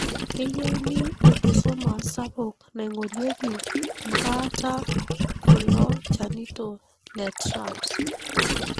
keyieuni enkisuma sapuk naingorieki mbaata kulo chanito, le TRAPS.